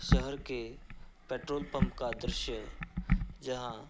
शहर के petrol pump का दृश्य जहां --